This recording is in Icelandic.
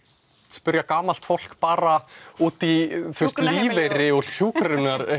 spyrja gamalt fólk bara út í lífeyri og hjúkrun